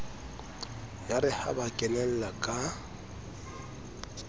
yare ha ba kenella ka